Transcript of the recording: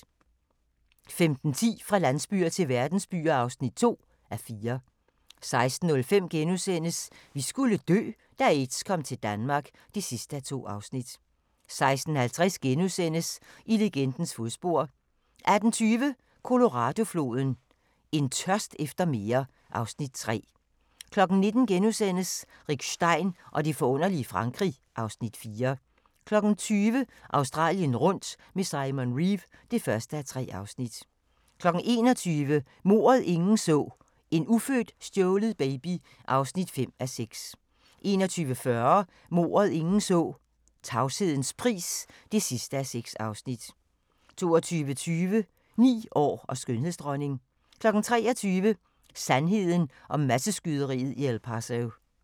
15:10: Fra landsbyer til verdensbyer (2:4) 16:05: Vi skulle dø - da aids kom til Danmark (2:2)* 16:50: I legendens fodspor * 18:20: Colorado-floden: En tørst efter mere (Afs. 3) 19:00: Rick Stein og det forunderlige Frankrig (Afs. 4)* 20:00: Australien rundt med Simon Reeve (1:3) 21:00: Mordet, ingen så: En ufødt stjålet baby (5:6) 21:40: Mordet, ingen så: Tavshedens pris (6:6) 22:20: 9 år og skønhedsdronning 23:00: Sandheden om masseskyderiet i El Paso